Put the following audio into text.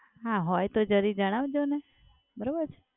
હા હોય તો જરી જણાવી જોને. બરોબર છે?